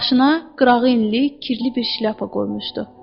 Başına qırağı enli, kirli bir şlyapa qoymuşdu.